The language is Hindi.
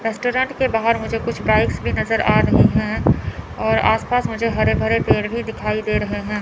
रेस्टोरेंट के बाहर मुझे कुछ बाइक्स भी नजर आ रही हैं और आस पास मुझे हरे भरे पेड़ भी दिखाई दे रहे हैं।